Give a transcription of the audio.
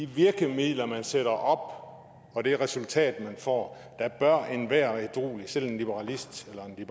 virkemidler man sætter op og og det resultat man får bør enhver ædruelig politiker selv en liberalist eller en